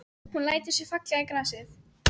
Hún lætur sig falla í grasið.